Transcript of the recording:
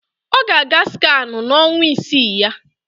Ọ ga-aga scanụ n'ọnwa isii ya